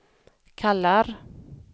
kallar